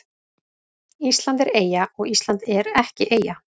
Ísland er eyja og Ísland er ekki eyja